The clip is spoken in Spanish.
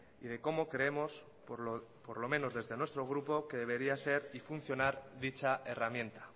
y de cómo creemos por lo menos desde nuestro grupo que debería ser y funcionar dicha herramienta